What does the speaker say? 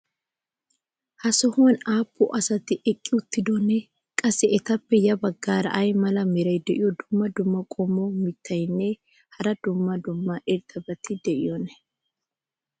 ha sohuwan aapun asati eqqqi uttidonaa? qassi etappe ya bagaara ay mala meray diyo dumma dumma qommo mitattinne hara dumma dumma irxxabati de'iyoonaa?